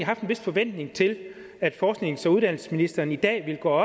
vis forventning til at forsknings og uddannelsesministeren i dag ville gå